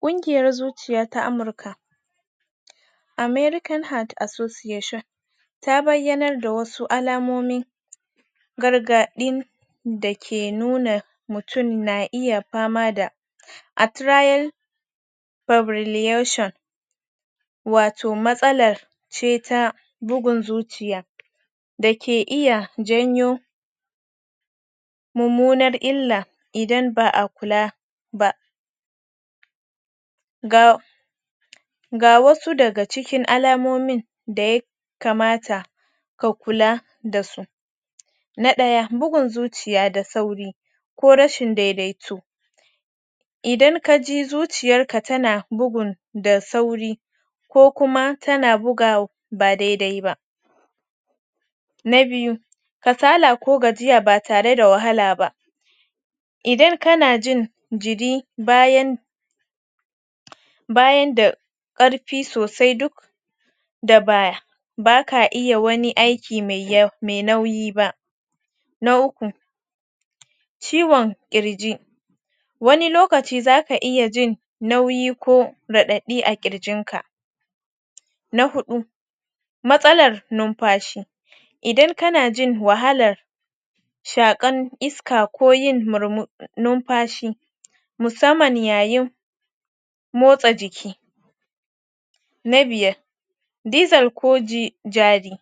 Kungiyar zuciya ta Amurka American Heart Association ta bayyanar da wasu alamomi gargaɗin da ke nuna mutum na iya fama ma da atrial fibrillation wato matsala ce ta bugun zuciya da ke iya janyo mummunan illa idan ba a kula ba. ga ga wasu daga cikin alamomin da ya kamata ka kula da su. na ɗaya bugun zuciya da sauri ko rashin daidaito idan ka ji zuciyarka ta na bugun da sauri ko kuma tana buga ba dai-dai ba na biyu kasala ko gajiya ba tare da wahala ba. idan kana jin jiri bayan bayan da ƙarfi sosai duk da baya baka ka iya wani aiki mai yawa mai nauyi ba. Na uku ciwon ƙirji wani lokaci za ka iya jin nauyi ko raɗaɗi a ƙirjinka na huɗu matsalar numfashi idan kana jin wahalar shaƙar iska ko yin mur numfashi musamman ya yin motsa jiki na biyar dizal ko ji jari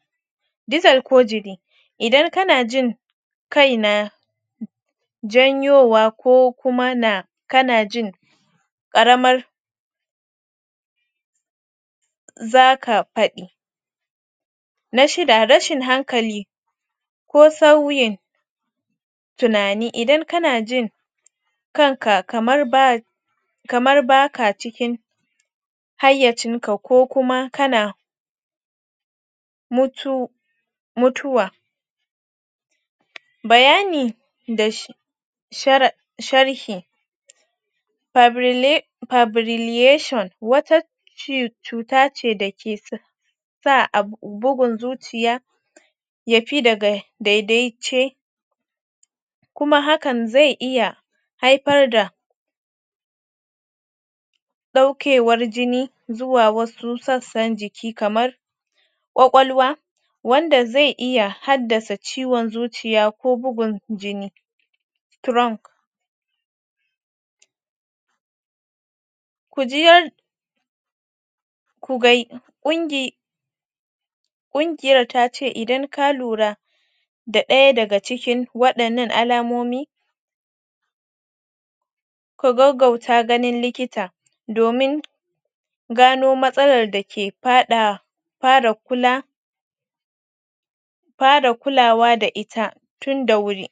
diizel ko jiri idan kana jin kai na janyowa ko kuma na kana jin ƙaramar za ka faɗi na shida rashin hankali ko sauyin tunani idan kana ji kanka kamar ba ka cikin hayyancinka ko kuma kana mutu mutuwa bayani da shi da sharhi Faibri Fibrillation wata cuta ce da ke sa sa abu bugun zuciya ya fi daga daidaice kuma hakan zai iya haifar da ɗaukewar jini zuwa wasu sassan jiki kamar ƙwaƙwalwa wanda zai iya haddasa ciwon zuciya ko bugun jini trunk ku ji yar ku ga ƙungi ƙungiyar ta ce idan ka lura da ɗaya daga cikin waɗannan alamomi ku gaggaguta ganin likita domin gano matsalar da ke faɗa fara kula fara kulawa da ita tun da wuri.